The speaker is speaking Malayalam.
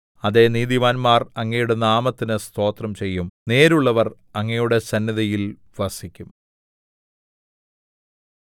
അതേ നീതിമാന്മാർ അങ്ങയുടെ നാമത്തിന് സ്തോത്രം ചെയ്യും നേരുള്ളവർ അങ്ങയുടെ സന്നിധിയിൽ വസിക്കും